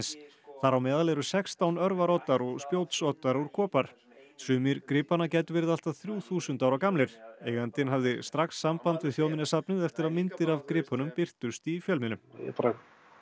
þar á meðal eru sextán örvaroddar og spjótsoddar úr kopar sumir gripanna gætu verið allt að þrjú þúsund ára gamlir eigandinn hafði strax samband við Þjóðminjasafnið eftir að myndir af gripunum birtust í fjölmiðlum ég bara